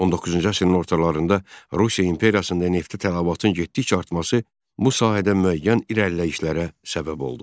19-cu əsrin ortalarında Rusiya imperiyasında neftə tələbatın getdikcə artması bu sahədə müəyyən irəliləyişlərə səbəb oldu.